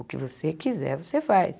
O que você quiser, você faz.